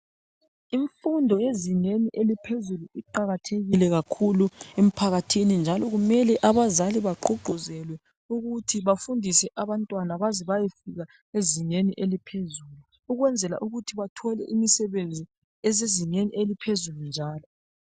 Imfundo yezingeni eliphezulu iqakathekile kakhulu emphakathini njalo kumele abazali bagqugquzelwe ukuthi bafundise abantwana baze bayefika ezingeni eliphezulu ukwenzela ukuthi bathole imisebenzi esezimeni eliphezulu njalo.